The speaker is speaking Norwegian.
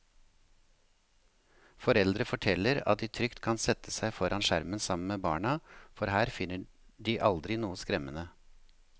Foreldre forteller at de trygt kan sette seg foran skjermen sammen med barna, for her finner de aldri noe skremmende.